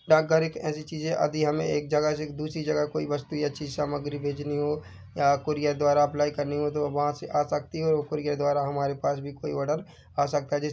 डाकघर एक ऐसी चीज है आदि हमे एक जगह से दूसरी जगह कोई वस्तु या चीज सामग्री भेजनी हो या कूरियर द्वारा अप्लाइ करनी हो तो वहाँ से आ सकती है और कूरियर द्वारा हमारे पास भी कोई ऑर्डर आ सकता है जैसे --